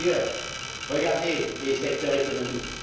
D'ailleurs, regardez les secteurs économiques.